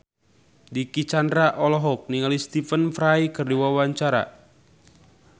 Dicky Chandra olohok ningali Stephen Fry keur diwawancara